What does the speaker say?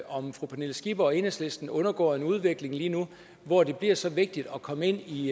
om fru pernille skipper og enhedslisten undergår en udvikling lige nu hvor det bliver så vigtigt at komme ind i